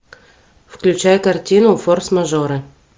включай картину форс мажоры